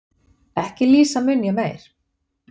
Ekki lýsa mun ég meir